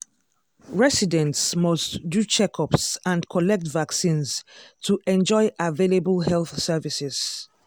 residents must do checkups and collect vaccines to enjoy available health services.